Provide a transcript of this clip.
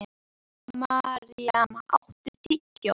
Maríam, áttu tyggjó?